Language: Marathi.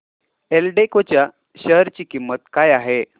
एल्डेको च्या शेअर ची किंमत काय आहे